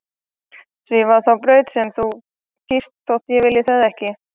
Svífa þá braut sem þú kýst þótt ég vilji það ekki.